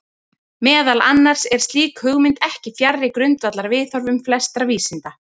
Meðal annars er slík hugmynd ekki fjarri grundvallarviðhorfum flestra vísinda.